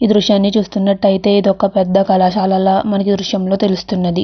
ఈ దృశ్యాన్ని చూస్తున్నట్టయితే ఇదొక పెద్ద కళాశాలల మనకి దృశ్యంలో తెలుస్తున్నది.